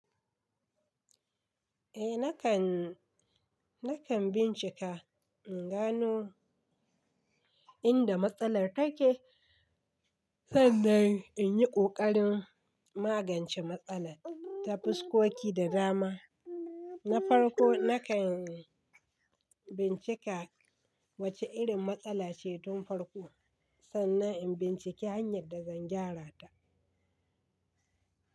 Eh nakan, nakan bincika in gano inda matsalar take sannan in yi ƙoƙarin magance matsalar. Ta fiskoki da dama. Na farko nakan bincika wacce irin matsala ce tun farko sannan in binciki hanyar da zan gyara ta.